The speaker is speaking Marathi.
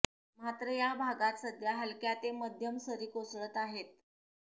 मात्र या भागात सध्या हलक्या ते मध्यम सरी कोसळत आहेत